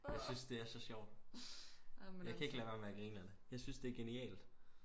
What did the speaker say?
jeg synes det er så sjovt jeg kan ikke lade være med at grine af det jeg synes det er genialt